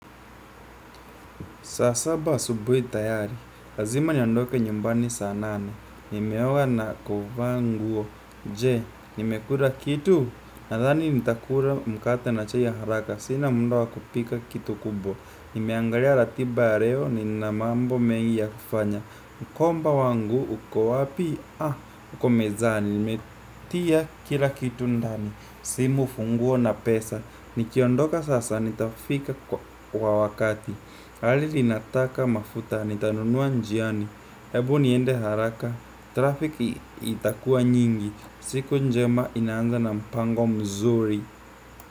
Saa saba asubuhi tayari, lazima niondoke nyumbani saa nane, nimeoga na kuvaa nguo, je, nimekura kitu, nathani nitakura mkate na chai ya haraka, sina mda wa kupika kitu kubwa nimeangalia ratiba ya reo nina mambo mengi ya kufanya, mkomba wangu, uko wapi, ah, uko mezani, nimetia kila kitu ndani, simu funguo na pesa, nikiondoka sasa nitafika kwa wakati. Gari linataka mafuta nitanunua njiani. Hebu niende haraka Traffic itakua nyingi. Siku njema ina anza na mpango mzuri.